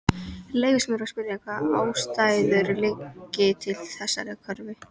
Leyfist mér að spyrja, hvaða ástæður liggi til þessarar kröfu?